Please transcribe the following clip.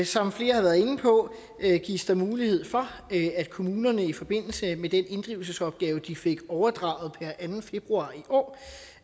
som flere har været inde på gives der mulighed for at kommunerne i forbindelse med den inddrivelsesopgave de fik overdraget per anden februar i år